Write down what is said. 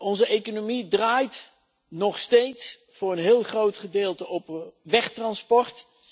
Onze economie draait nog steeds voor een heel groot gedeelte op wegtransport.